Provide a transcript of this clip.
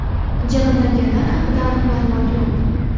Jabrlanganlar haqida aniq ma’lumot yo‘q.